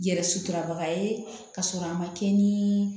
Yɛrɛ suturabaga ye ka sɔrɔ a ma kɛ ni